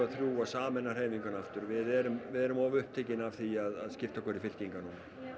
þrjú og sameina hreyfinguna aftur við erum við erum of upptekin af því að skipta okkur í fylkingar